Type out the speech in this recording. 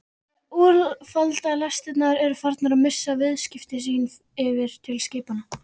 Úlfaldalestirnar eru farnar að missa viðskipti sín yfir til skipanna.